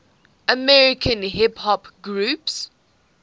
american hip hop groups